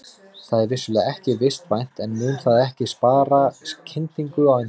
Það er vissulega ekki vistvænt en mun það ekki spara kyndingu á endanum?